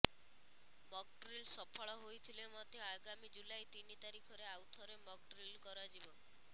mock drill ସଫଳ ହୋଇଥିଲେ ମଧ୍ୟ ଆଗାମୀ ଜୁଲାଇ ତିନି ତାରିଖରେ ଆଉଥରେ ମକଡ୍ରିଲ କରାଯିବ